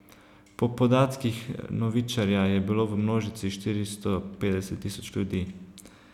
Po podatkih novičarja je bilo v množici štiristo petdeset tisoč ljudi.